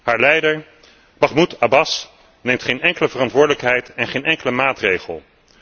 Haar leider Mahmoud Abbas, neemt geen enkele verantwoordelijkheid en geen enkele maatregel.